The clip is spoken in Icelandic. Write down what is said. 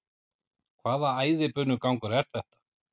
Hvaða æðibunugangur er þetta?